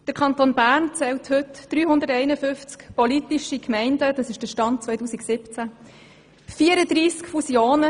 Der Kanton Bern zählt heute 351 politische Gemeinden, das ist der Stand 2017.